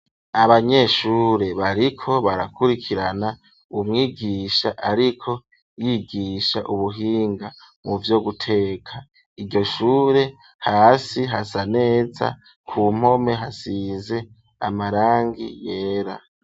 Abanyeshure bariko barakurikirana umwigisha ariko yigisha ubuhinga mu vyo guteka, iryoshure hasi hasa neza ku mpome hasize amarangi yera.